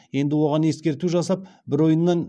енді оған ескерту жасап бір ойыннан